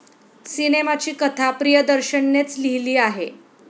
सिनेमाची कथा प्रियदर्शननेच लिहिली आहे.